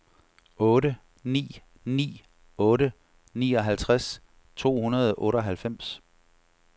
otte ni ni otte nioghalvtreds to hundrede og otteoghalvfems